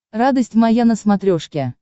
радость моя на смотрешке